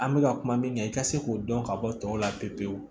An bɛka kuma min kan i ka se k'o dɔn ka bɔ tɔw la pewu pewu